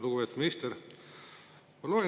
Lugupeetud minister!